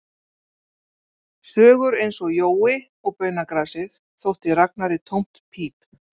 Sögur eins og Jói og baunagrasið þótti Ragnari tómt píp